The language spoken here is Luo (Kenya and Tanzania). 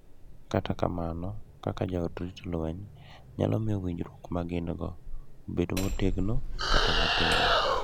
Kata kamano, kaka joot rito lweny nyalo miyo winjruok ma gin-go obed motegno kata matin.